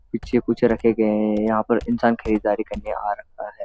कुछ चीज कुछ रखे गए हैं यहां पर इंसान खरीदारी करने आ रहा है।